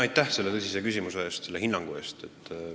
Aitäh selle tõsise küsimuse eest ja selle hinnangu eest!